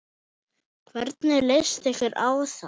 Hvernig leyst ykkur á það?